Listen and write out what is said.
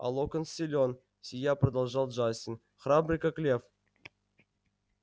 а локонс силён сияя продолжал джастин храбрый как лев